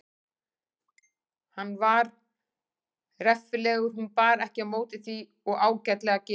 Hann var reffilegur hún bar ekki á móti því og ágætlega gefinn.